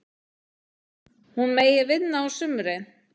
Hún megi vinna á sumrin.